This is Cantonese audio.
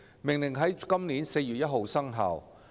《命令》在今年4月1日生效。